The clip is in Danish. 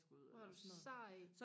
hvor er du sej